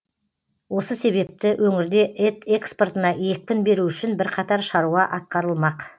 осы себепті өңірде ет экспортына екпін беру үшін бірқатар шаруа атқарылмақ